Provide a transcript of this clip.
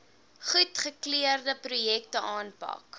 goedgekeurde projekte aanpak